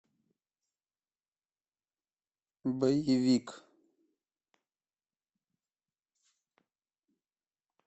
боевик